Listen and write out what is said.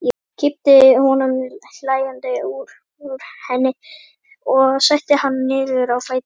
Kippti honum hlæjandi upp úr henni og setti hann niður á fæturna.